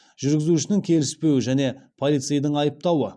жүргізушінің келіспеуі және полицейдің айыптауы